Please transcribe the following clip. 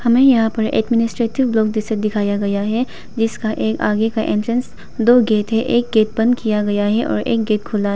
हमें यहां पर एडमिनिस्ट्रेटिव ब्लॉक जैसा दिखाया गया है जिसका ये आगे का एंट्रेंस दो गेट है एक गेट बंद किया गया है और एक गेट खुला--